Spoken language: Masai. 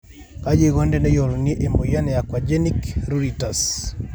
kaji eikoni teneyiolouni emoyian e aquagenic pruritus?